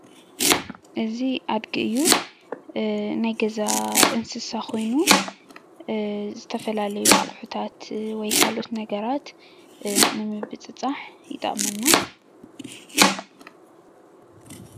እዚ ኣድጊ እዩ፡፡ ናይ ገዛ እንስሳ ኮይኑ ዝተፈላለዩ ኣቁሕታት ወይ ካልኦት ነገራት ንምብፅፃሕ ይጠቅመና፡፡